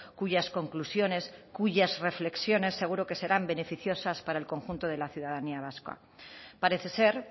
cuyas conclusiones cuyas reflexiones seguro que serán beneficiosas para el conjunto de la ciudadanía vasca parece ser